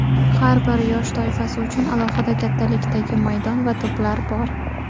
Har bir yosh toifasi uchun alohida kattalikdagi maydon va to‘plar bor.